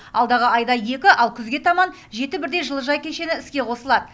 алдағы айда екі ал күзге таман жеті бірдей жылыжай кешені іске қосылады